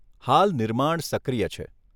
હાલ નિર્માણ સક્રિય છે.